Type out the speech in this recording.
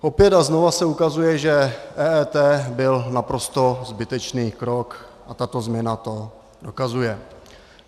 Opět a znovu se ukazuje, že EET byl naprosto zbytečný krok, a tato změna to dokazuje.